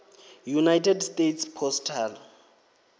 united states postal